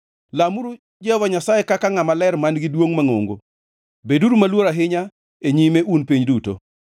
Lamuru Jehova Nyasaye kaka Ngʼama Ler man-gi duongʼ mangʼongo; beduru maluor ahinya e nyime, un piny duto.